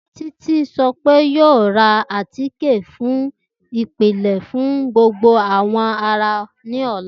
Titi sọ pe oun yoo ra átiké ati ipilẹ fun gbogbo awọ ara ni ọla.